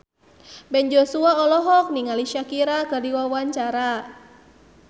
Ben Joshua olohok ningali Shakira keur diwawancara